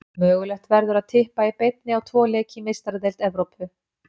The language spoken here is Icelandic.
Mögulegt verður að Tippa í beinni á tvo leiki í Meistaradeild Evrópu.